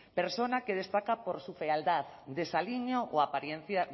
persona que destaca por su fealdad desaliño o apariencia